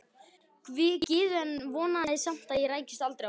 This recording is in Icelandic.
Gyðu en vonaði samt að ég rækist aldrei á hana.